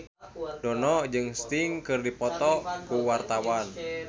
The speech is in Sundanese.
Dono jeung Sting keur dipoto ku wartawan